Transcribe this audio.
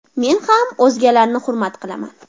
Men ham o‘zgalarni hurmat qilaman.